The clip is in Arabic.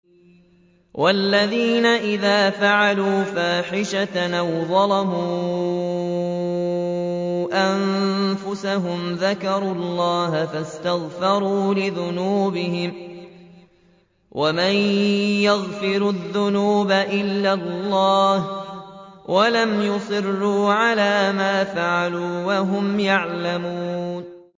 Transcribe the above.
وَالَّذِينَ إِذَا فَعَلُوا فَاحِشَةً أَوْ ظَلَمُوا أَنفُسَهُمْ ذَكَرُوا اللَّهَ فَاسْتَغْفَرُوا لِذُنُوبِهِمْ وَمَن يَغْفِرُ الذُّنُوبَ إِلَّا اللَّهُ وَلَمْ يُصِرُّوا عَلَىٰ مَا فَعَلُوا وَهُمْ يَعْلَمُونَ